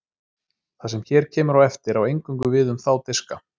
Það sem hér kemur á eftir á eingöngu við um þá diska.